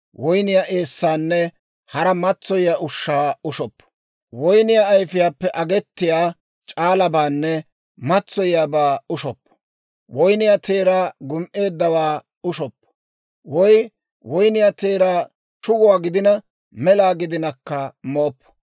woyniyaa eessaanne hara matsoyiyaa ushshaa ushoppo; woyniyaa ayifiyaappe agettiya c'aalabaanne matsoyiyaabaa ushoppo; woyniyaa teeraa gum"eeddawaa ushoppo. Woy woyniyaa teeraa shuguwaa gidina, mela gidinakka mooppo;